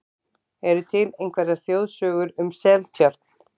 Eru til einhverjar þjóðsögur um Seltjörn?